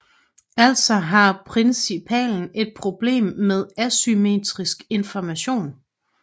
Altså har principalen et problem med asymmetrisk information